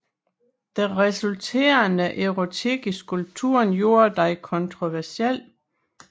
Den resulterende erotik i skulpturen gjorde den kontroversiel